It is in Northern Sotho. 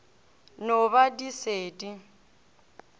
no ba di se di